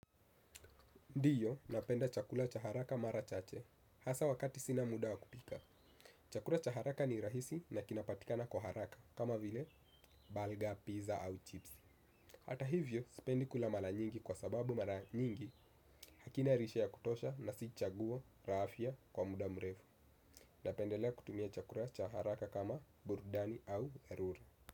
Ndio napenda chakula cha haraka mara chache hasa wakati sina muda wa kupika. Chakula cha haraka ni rahisi na kinapatikana kwa haraka kama vile bugger, pizza au chipsi. Hata hivyo, sipendi kula mara nyingi kwa sababu mara nyingi hakina lishe ya kutosha na si chaguo la afya kwa muda mrefu. Napendelea kutumia chakula cha haraka kama burudani au erure.